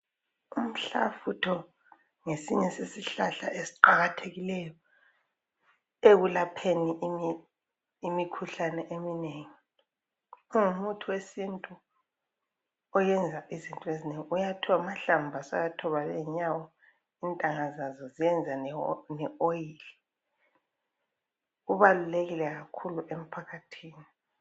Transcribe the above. umhlafutho ngesinye sesihlahla esiqakathekileyo ekulapheni imikhuhlane eminengi ungumuthi wesintu oyenza izinto ezinengi uyathoba amahlamvu uyathoba lezinya ezinengi intanga zazo zenza le oil ubalulekile kakhulu emphakathini